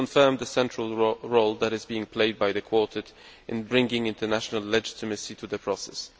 It confirmed the central role that is being played by the Quartet in bringing international legitimacy to the process.